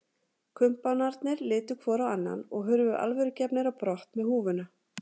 Kumpánarnir litu hvor á annan og hurfu alvörugefnir á brott með húfuna.